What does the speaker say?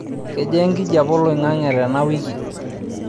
kejaa enkijape oloingange tena wiki